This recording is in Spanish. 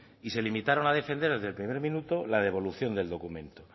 y se limitaron a defender desde el primer minuto la devolución del documento